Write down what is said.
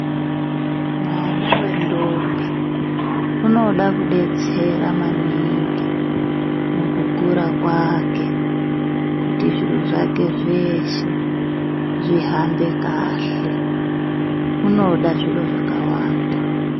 Mwana wendombi unoda kudetsera maningi mukukura kwake kuti zviro zvake zveshe zvihambe kahle. Unoda zviro zvakawanda.